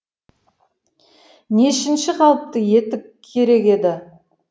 нешінші қалыпты етік керек еді